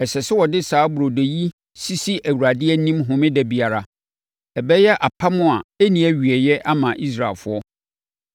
Ɛsɛ sɛ wɔde saa burodo yi sisi Awurade anim Homeda biara; ɛbɛyɛ apam a ɛnni awieeɛ ama Israelfoɔ.